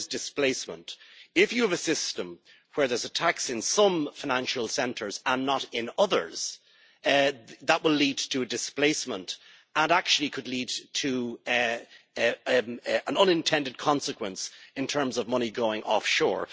One is displacement if you have a system where there is a tax in some financial centres and not in others, that will lead to displacement and could actually lead to an unintended consequence in terms of money going offshore.